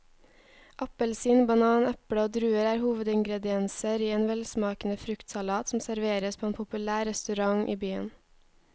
Appelsin, banan, eple og druer er hovedingredienser i en velsmakende fruktsalat som serveres på en populær restaurant i byen.